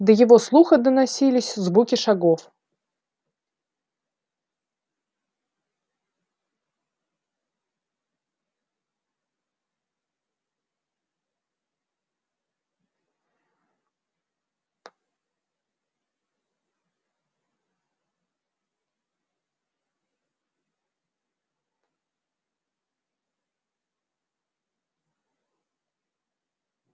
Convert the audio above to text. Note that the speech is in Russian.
до его слуха доносились звуки шагов